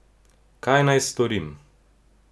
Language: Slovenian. Kaj naj storim?